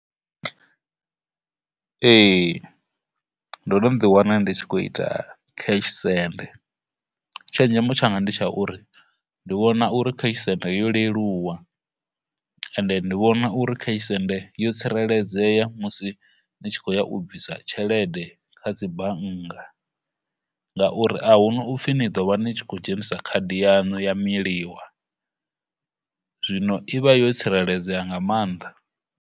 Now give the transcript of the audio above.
Ee, ndo no ḓi wana ndi tshi khou ita cash senf, tshenzhemo tshanga ndi tsha uri ndi vhona uri cash send yo leluwa, cash send ndi vhona uri cash send yo tsireledzea musi ni tshi khou ya u bvisa tshelede kha dzi bannga, ngauri ahuna upfhi ni ḓo vha ni khou dzhenisa card yanu ya miliwa, zwino i vha yo tsireledzeya nga maanḓa.